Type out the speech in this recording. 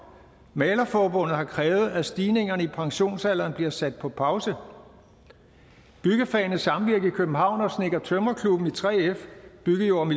malerforbundet har krævet at stigningerne i pensionsalderen bliver sat på pause byggefagenes samvirke i københavn og snedker og tømrerklubben i 3f bygge jord og